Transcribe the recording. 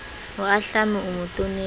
o ahlame o mo tonetse